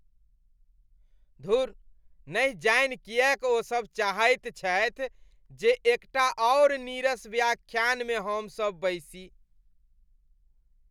धुर, नहि जानि किएक ओ सब चाहैत छथि जे एकटा आओर नीरस व्याख्यानमे हमसब बैसी।